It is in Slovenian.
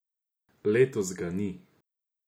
Letos ga ni.